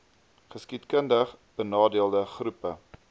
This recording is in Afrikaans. geskiedkundig benadeelde groepe